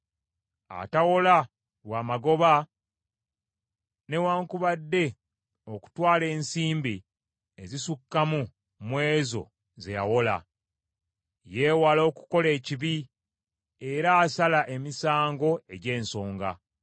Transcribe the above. atawola lwa magoba newaakubadde okutwala ensimbi ezisukkamu mu ezo ze yawola. Yeewala okukola ekibi, era asala emisango egy’ensonga.